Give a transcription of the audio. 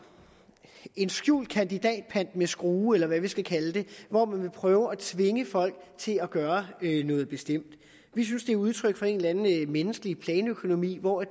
skjult kandidatpant med skrue eller hvad vi skal kalde det hvor man vil prøve at tvinge folk til at gøre noget bestemt vi synes det er udtryk for en eller anden menneskelig planøkonomi hvor